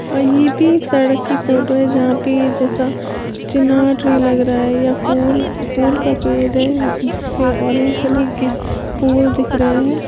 कहीं भी सड़क की फोटो है यहां पे ये जैसा चिनार ट्री लग रहा है या फूल फूल का पेड़ है जिस पे ऑरेंज कलर के फुल दिख रहे हैं।